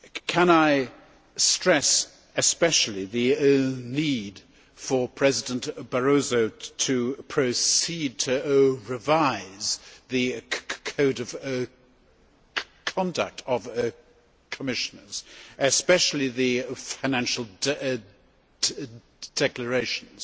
Can I stress especially the need for President Barroso to revise the Code of conduct of Commissioners, especially the financial declarations.